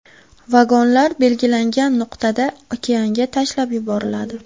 Vagonlar belgilangan nuqtada okeanga tashlab yuboriladi.